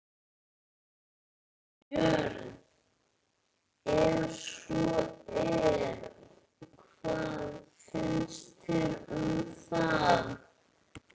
Björn: Ef svo er, hvað finnst þér um það?